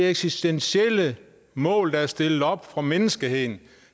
eksistentielle mål der er stillet op for menneskeheden